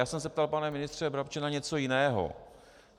Já jsem se ptal, pane ministře Brabče, na něco jiného.